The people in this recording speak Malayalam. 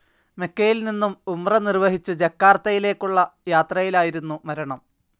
മെക്കയിൽ നിന്നും ഉംറ നിർവഹിച്ചു ജക്കാർത്തയിലേക്കുളള യാത്രയിലായിരുന്നു മരണം.